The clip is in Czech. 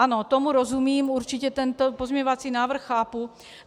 Ano, tomu rozumím, určitě tento pozměňovací návrh chápu.